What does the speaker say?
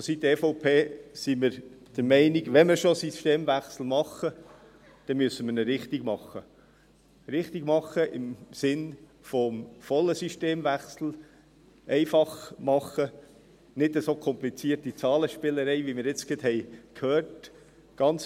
Vonseiten der EVP sind wir der Meinung, wenn wir schon einen Systemwechsel machen, dann müssen wir ihn richtig machen – richtig machen, im Sinne eines vollen Systemwechsels, einfach machen und nicht so komplizierte Zahlenspielereien, wie wir sie jetzt gerade gehört haben;